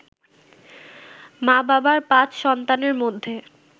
মা-বাবার ৫ সন্তানের মধ্যে